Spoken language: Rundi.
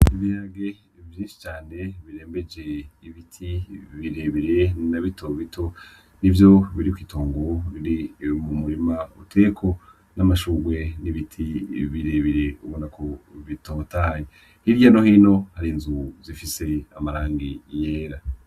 Ibiharage vyinshi cane birembeje ibiti birebire na bito bito nivyo biri kw'itongo iri mu murima uteyeko n'amashurwe n'ibiti birebire ubona ko bitotahaye, hirya no hino hari inzu zifise amarangi yera.